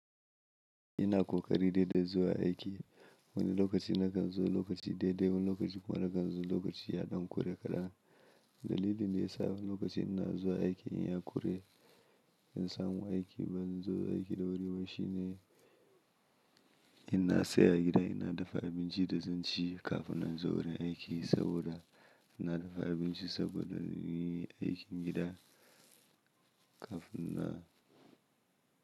Ina ƙoƙari daidai zuwa aiki. Wani lokaci na kan zo lokaci daidai, wani lokaci kuma na kan zo lokaci ya ɗan ƙure kaɗan. Dalilin da ya sa wani lokaci ina zuwa aiki in ya ƙure in samu aiki ba zan zo aiki da wuri ba shi ne, ina tsaya a gida ina dafa abinci da zan ci kafin in zo wurin aiki saboda ina dafa abinci saboda inyi aikin gida kafin na.